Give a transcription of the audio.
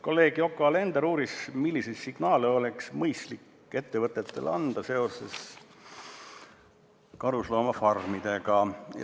Kolleeg Yoko Alender uuris, milliseid signaale oleks mõistlik ettevõtetele anda seoses karusloomafarmidega.